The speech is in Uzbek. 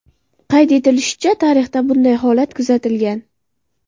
Qayd etilishicha, tarixda bunday holat kuzatilgan.